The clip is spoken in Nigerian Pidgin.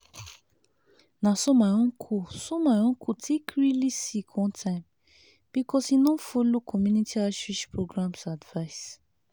na so my uncle so my uncle take really sick one time because e no follow community outreach programs advice.